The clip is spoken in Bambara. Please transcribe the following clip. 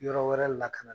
Yɔrɔ wɛrɛ la ka na